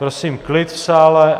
Prosím klid v sále.